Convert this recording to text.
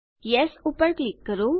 yes ઉપર click કરો